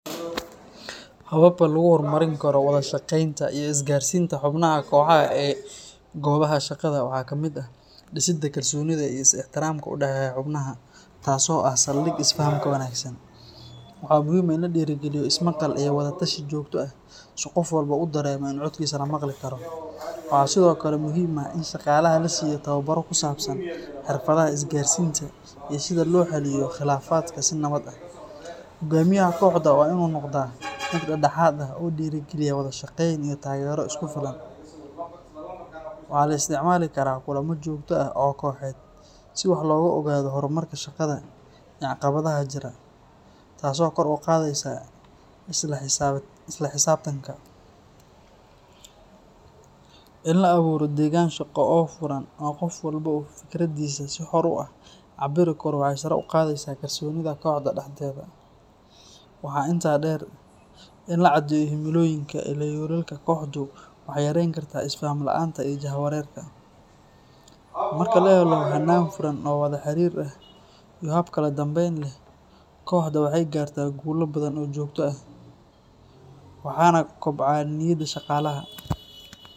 Hababka lagu hormarin karo wada shaqeynta iyo isgaarsiinta xubnaha kooxaha ee goobaha shaqada waxaa ka mid ah dhisidda kalsoonida iyo ixtiraamka u dhexeeya xubnaha, taas oo ah saldhigga isfahamka wanaagsan. Waxaa muhiim ah in la dhiirrigeliyo ismaqal iyo wada tashi joogto ah, si qof walba uu dareemo in codkiisa la maqli karo. Waxaa sidoo kale muhiim ah in shaqaalaha la siiyo tababaro ku saabsan xirfadaha isgaarsiinta iyo sida loo xalliyo khilaafaadka si nabad ah. Hogaamiyaha kooxda waa in uu noqdaa mid dhexdhexaad ah, oo dhiirrigeliya wada shaqeyn iyo taageero isku filan. Waxaa la isticmaali karaa kulamo joogto ah oo kooxeed si wax looga ogaado horumarka shaqada iyo caqabadaha jira, taasoo kor u qaadaysa isla xisaabtanka. In la abuuro deegaan shaqo oo furan oo qof walba uu fikraddiisa si xor ah u cabiri karo waxay sare u qaadaysaa kalsoonida kooxda dhexdeeda. Waxaa intaa dheer, in la caddeeyo himilooyinka iyo yoolalka kooxdu waxay yareyn kartaa isfaham la’aanta iyo jahawareerka. Marka la helo hannaan furan oo wada xiriir ah iyo hab kala dambeyn leh, kooxda waxay gaartaa guulo badan oo joogto ah, waxaana kobca niyadda shaqaalaha.